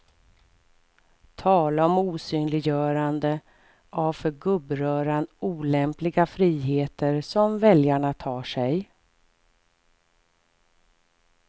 Tala om osynliggörande av för gubbröran olämpliga friheter som väljarna tar sig.